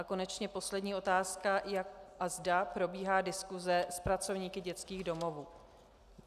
A konečně poslední otázka, jak a zda probíhá diskuse s pracovníky dětských domovů.